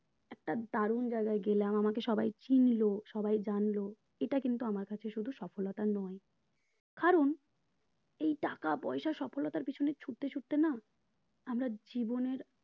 একটা দারুন জায়গায় গেলাম আমাকে সবাই চিনলো সবাই জানলো এটা কিন্তু আমার কাছে সফলতা নয় কারণ এই টাকা পয়সা সফলতার পেছনে ছুটতে ছুটতে না আমরা জীবনের